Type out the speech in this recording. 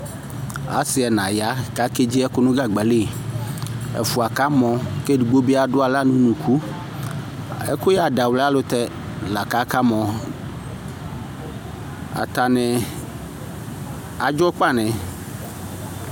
Asɩ ɛna ya k'akedzi ɛkʋ nʋ gagba li; ɛfʋa kamɔ, k'edigbo bɩ adʋ aɣla n'unuku Ɛkʋyɛadawlɩ ayɛlʋtɛ la k'akamɔ : atanɩ adzɔkpanɩ